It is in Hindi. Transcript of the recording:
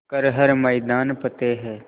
कर हर मैदान फ़तेह